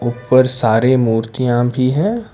और सारे मूर्तियां भी है।